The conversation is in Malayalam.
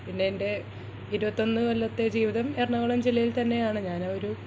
പിന്നെ എന്റെ ഇരുപത്തിയൊന്നു കൊല്ലാതെ ജീവിതം എറണാകുളം ജില്ലയിൽ തന്നെ ആണ് ഞാൻ ആ ഒരു